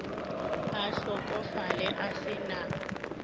a hlokofale a se na